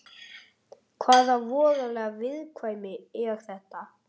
Hvaða voðaleg viðkvæmni er þetta?